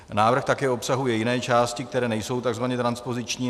Návrh také obsahuje jiné části, které nejsou tzv. transpoziční.